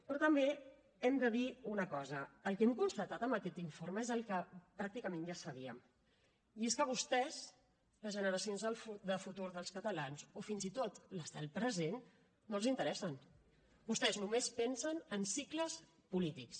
però també hem de dir una cosa el que hem constatat amb aquest informe és el que pràcticament ja sabíem i és que vostès les generacions de futur dels catalans o fins i tot les del present no els interessen vostès només pensen en cicles polítics